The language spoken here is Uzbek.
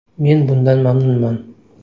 Men bundan mamnunman.